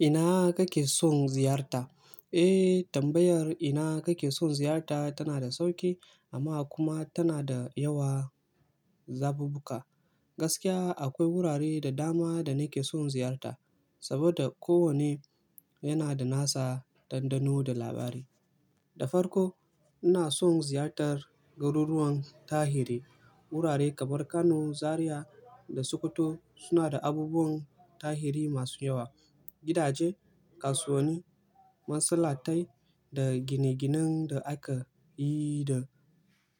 Ina kake son ziyarta? Eh, tambayar ina kake son ziyarta tana da sauƙi amma kuma tana da yawa zabubbuka. Gaskiya akwai wurare da dama da nake son ziyarta saboda kowanne yana da nasa dandano da labari. Da farko ina son ziyartar garuruwan tarihi. Wurare kamar Kano, Zariya da Sokoto suna da abubuwan tarihi masu yawa. Gidaje, kasuwani, masallatai da gine-ginen da aka yi da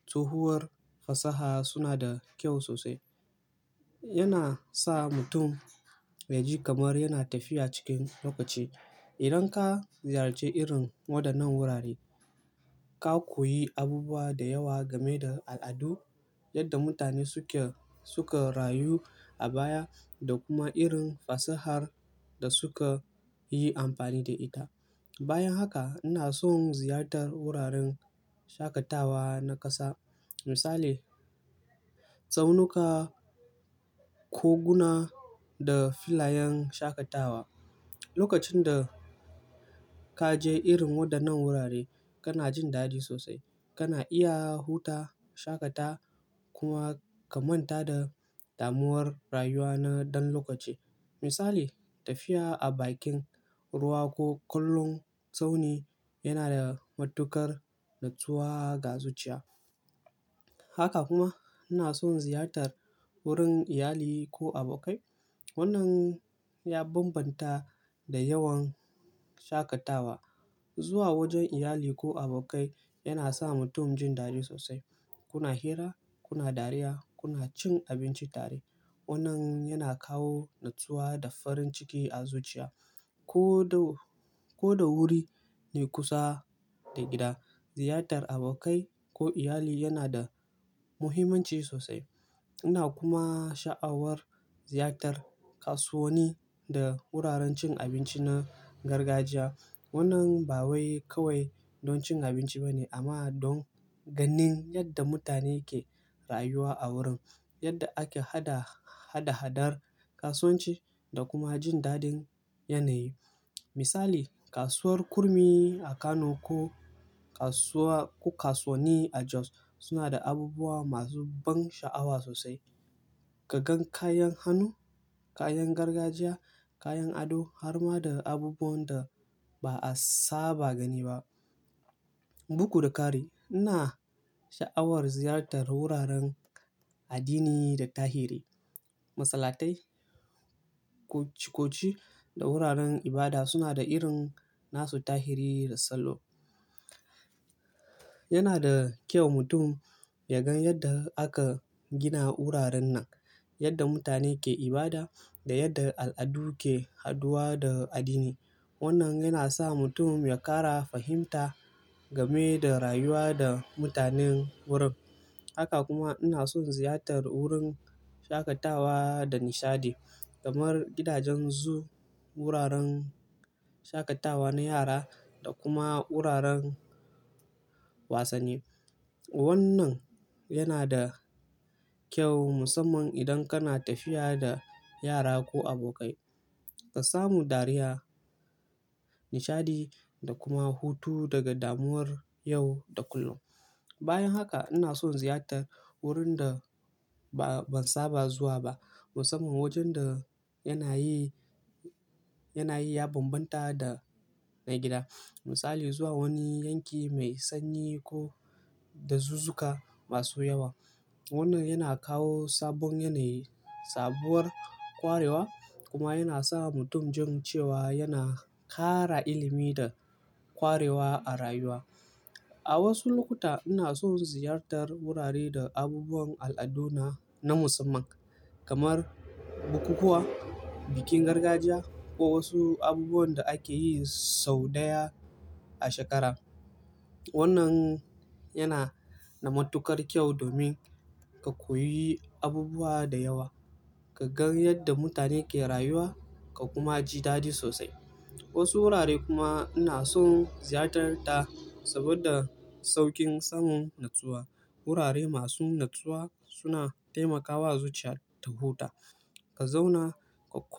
tsohuwar fasaha suna da kyau sosai. Yana sa mutum ya ji kamar yana tafiya cikin lokaci. Idan ka ziyarci irin waɗannan wurare, ka koyi abubuwa da yawa game da al'adu, yadda mutane suke, suka rayu a baya da kuma irin fasahar da suka yi amfani da ita. Bayan haka ina son ziyartar wuraren shakatawa na ƙasa. Misali, tsaunuka, koguna da filayen shakatawa. Lokacin da ka je irin waɗannan wurare kana jin dadi sosai. Kana iya huta, shakata kuma ka manta da damuwar rayuwa na ɗan lokaci. Misali, tafiya a bakin ruwa ko kallon tsauni yana da matuƙar natsuwa ga zuciya. Haka kuma ina son ziyartar wurin iyali ko abokai. Wannan ya bambanta da yawan shakatawa. Zuwa wajen iyali ko abokai yana sa mutum jin dadi sosai. Kuna hira, kuna dariya, kuna cin abinci tare. Wannan yana kawo natsuwa da farin ciki a zuciya. Ko da, ko da wuri ne kusa da gida, ziyartar abokai ko iyali yana da muhimmanci sosai. Ina kuma sha'awar ziyartar kasuwani da wuraren cin abinci na gargajiya. Wannan ba wai kawai don cin abinci ba ne amma don ganin yadda mutane ke rayuwa a wurin, yadda ake hada, hada-hadar kasuwanci da kuma jin dadin yanayi. Misali, kasuwar Kurmi a Kano ko kasuwa, ko kasuwani a Jos suna da abubuwa masu ban sha'awa sosai. Ka gan kayan hannu, kayan gargajiya, kayan ado har ma da abubuwan da ba a saba gani ba. Bugu da kari. Ina sha'awar ziyartar wuraren addini da tahiri. Masallatai, cococi da wuraren ibada suna da irin nasu tahiri da salo. Yana da kyau mutum ya gan yadda aka gina wuraren nan, yadda mutane ke ibada da yadda al'adu ke haduwa da addini. Wannan yana sa mutum ya ƙara fahimta game da rayuwa da mutanen wurin. Haka kuma ina son ziyartar wurin shakatawa da nishaɗi kamar gidajen zoo, wuraren shakatawa na yara da kuma wuraren wasanni. Wannan yana da kyau musamman idan kana tafiya da yara ko abokai. Ka samu dariya, nishaɗi da kuma hutu daga damuwar yau da kullum. Bayan haka ina son ziyartar wurin da ba, ban saba zuwa ba musamman wajen da yana yi, yana yi ya bambanta da na gida. Misali, zuwa wani yanki mai sanyi ko da zuzuka masu yawa. Wannan yana kawo sabon yanayi, sabuwar ƙwarewa kuma yana sa mutum jin cewa yana ƙara ilimi da ƙwarewa a rayuwa. A wasu lokuta ina son ziyartar wurare da abubuwan al'aduna na musamman kamar bukukuwa, bikin gargajiya ko wasu abubuwan da ake yi sau ɗaya a shekara. Wannan yana da matuƙar kyau domin ka koyi abubuwa da yawa, ka gan yadda mutane ke rayuwa ka kuma ji dadi sosai. Wasu wurare kuma ina son ziyartar ta saboda sauƙin samun natsuwa. Wurare masu natsuwa suna taimakawa zuciya ta huta. Ka zauna ka ƙo-